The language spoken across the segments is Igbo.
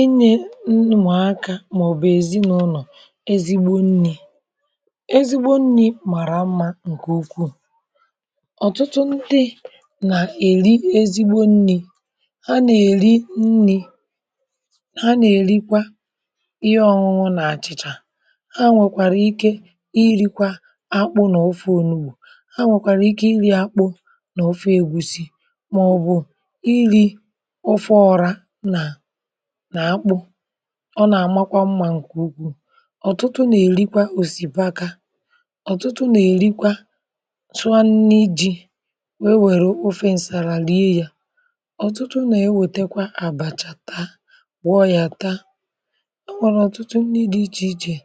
inyė ụmụaka màọ̀bù ezinaụlọ̀ ezigbo nnì ezigbo nnì màrà m̀ma ǹkè ukwuù. ọ̀tụtụ ndị nà-èri ezigbo nnì ha nà-èri nnì ha nà-èrikwa ihe ọ̀nwụnwụ nà-àchịchà ha nwèkwàrà ike irikwȧ akpụ nà ọfe onugbù ha nwèkwàrà ike iri̇ akpụ nà ọfe ègusi maọbụ̀ iri ofe ora nà nà-akpụ̇ ọ nà-àmakwa mmȧ ǹkè ukwù. ọ̀tụtụ nà-èrikwa òsìbaka ọ̀tụtụ nà-èrikwa tụọ n’iji wee nwèrè ofe ǹsàrà rie yȧ ọ̀tụtụ nà-ewètekwa àbàchà taa gwọọ yȧ taa e nwèrè ọ̀tụtụ nri di ichè ichè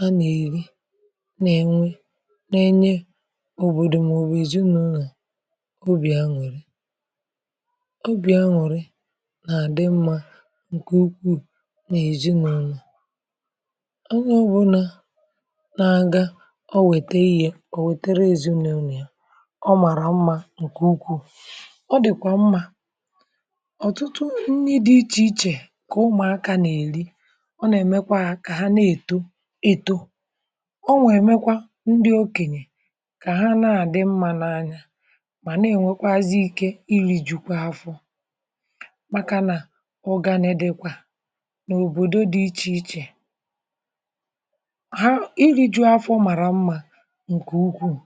a nà-èri nà-ènwe nà-enye òbòdò mà ò bu ezinụlọ obì aṅụ̀rị. obì aṅụ̀rị na-adi mma nke ukwu n’ezinụlọ. onye ọbụlà na-aga o wete ihė o wetara ezinaụlọ̀ ya ọ màrà mmȧ ǹkè ukwuù ọ dị̀kwà mmȧ. ọ̀tụtụ nni dị ichè ichè kà ụmụ̀akȧ nà-èli ọ nà-èmekwa kà ha na-èto eto ọ na-emekwa ndị okènyè kà ha na-àdị mmȧ n’anya mà na-ènwekwazị ike ilìjikwa afọ. Maka na Ụganị dikwa n’òbòdo dị ichè ichè ha iri̇ju̇ afọ màrà mmȧ ǹkè ukwuu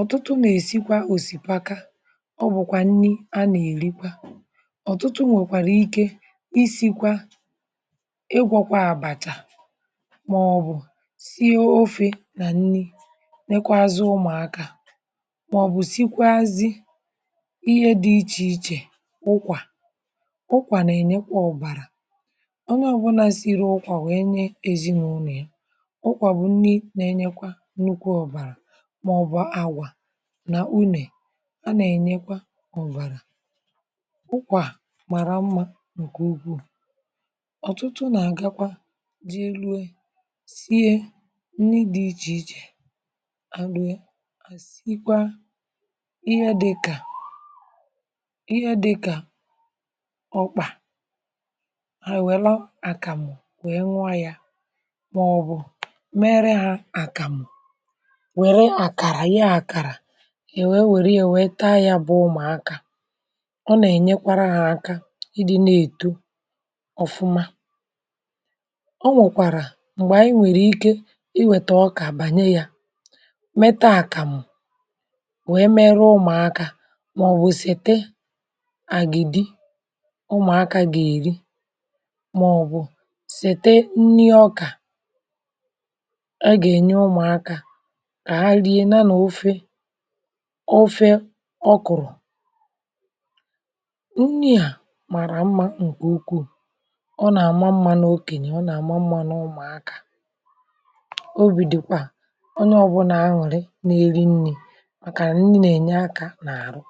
ọ̀tụtụ nà-èsikwa òsìpaka o bùkwà nni a nà-èrikwa ọ̀tụtụ nwèkwàrà ike isikwa igwọ̇kwa àbàchà mọ̀bụ̀ sie ofė nà nni nekwazị ụmụ̀akȧ mọ̀bụ̀ sikwazị ihe dị ichè ichè kpụkwà. ụkwà na-enyekwa ọ̀bàrà. ọnye obula Siri ụkwà nwèe nye ezìnụlọ̀ ụnọ̀ ya. ụkwà bụ̀ nni nà-enyekwa nnukwu ọ̀bàrà màọbụ̀ àgwà nà unè a nà-ènyekwa ọ̀bàrà. ụkwà màrà mmȧ ǹkè ukwuù ọ̀tụtụ nà-àgakwa ji rue sie nni dị ichè ichè à rùe à sikwa ihe dị kà ihe dị kà okpa ha ewelu àkàmụ̀ wee nụo yȧ màọbụ̀ mere ha àkàmụ̀ wère àkàrà Yée àkàrà ewė werie wère taa yȧ bụ̇ ụmụ̀akȧ. ọ nà-ènyekwara hȧ aka ịdị̇ na-èto ọ̀fụma. ọ nwèkwàrà m̀gbè ànyị nwèrè ike iwèta ọkà bànye yȧ metaa àkàmụ̀ wèe mere ụmụ̀akȧ màọbụ̀ sete àgịdị màọ̀bụ̀ sete nni ọkà aga ènye ụmụ̀akȧ kà ha rie nà n’ofe ofe ọkụ̀rụ̀ nni à màrà mmȧ ǹkè ukwuù ọ nà àma mmȧ n’okènyè ọ nà àma mmȧ n’ụmụ̀akȧ obì dị̀kwàà onye ọ̀bụlà aṅụrị nà eri nni̇ màkànà nni nà ènye akȧ n’àrụ.